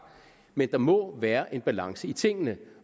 men der må være en balance i tingene